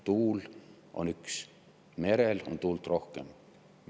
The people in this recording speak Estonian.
Tuul on üks ja merel on tuult rohkem.